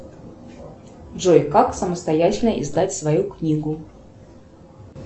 джой как самостоятельно издать свою книгу